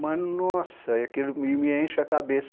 Mas, nossa, aquilo me me enche a cabeça.